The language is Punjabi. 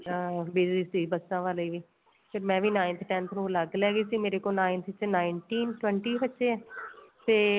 ਅਹ busy ਸੀ ਬੱਸਾ ਵਾਲੇ ਵੀ ਫੇਰ ਮੈਂ ਵੀ ninth tenth ਨੂੰ ਅੱਲਗ ਲੈ ਗਈ ਸੀ ਮੇਰੇ ਕੋਲ ninth ਵਿੱਚ nineteen twenty ਬੱਚੇ ਏ ਤੇ